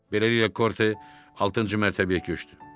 Beləliklə Korte altıncı mərtəbəyə köçdü.